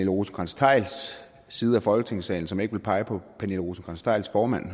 rosenkrantz theils side af folketingssalen som ikke vil pege på pernille rosenkrantz theils formand